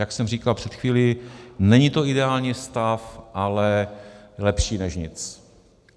Jak jsem říkal před chvílí, není to ideální stav, ale lepší než nic.